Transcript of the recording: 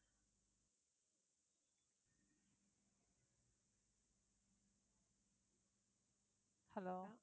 hello